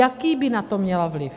Jaký by na to měla vliv?